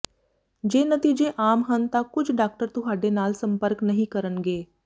ਜੇ ਨਤੀਜੇ ਆਮ ਹਨ ਤਾਂ ਕੁਝ ਡਾਕਟਰ ਤੁਹਾਡੇ ਨਾਲ ਸੰਪਰਕ ਨਹੀਂ ਕਰਨਗੇ